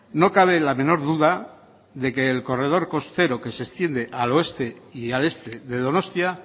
no cabe la menor duda de que el corredor costero que se extiende al oeste y al este de donostia